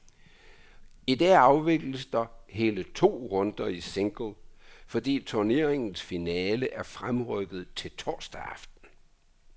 I dag afvikles der hele to runder i single, fordi turneringens finale er fremrykket til torsdag aften.